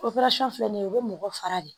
filɛ nin ye o be mɔgɔ fara de